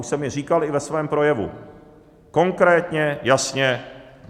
Už jsem je říkal i ve svém projevu konkrétně, jasně.